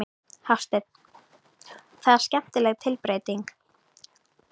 Hafsteinn: Og það er skemmtileg tilbreyting?